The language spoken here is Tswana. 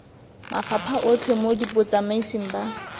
mafapha otlhe mo botsamaising ba